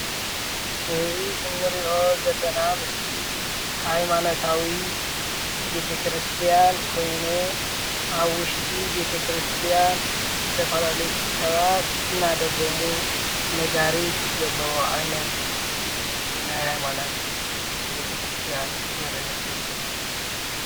እዚ እንሪኦ ዘለና ምስሊ ሃይማኖታዊ ቤተ-ክርስትያን ኮይኑ ኣብ ውሽጢ ቤተ-ክርስትያን ዝተፋላለዩ ሰባት እናደገሙ ነጋሪት ዘለዎ ዓይነት ናይ ሃይማኖት ቤተ-ክርስትያን ዘርኢ ምስሊ እዩ፡፡